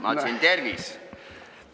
Ma ütlesin: tervis!